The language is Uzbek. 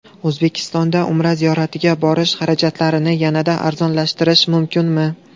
O‘zbekistondan Umra ziyoratiga borish xarajatlarini yanada arzonlashtirish mumkinmi?